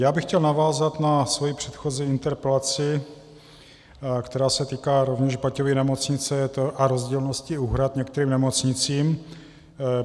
Já bych chtěl navázat na svoji předchozí interpelaci, která se týká rovněž Baťovy nemocnice a rozdílnosti úhrad některým nemocnicím.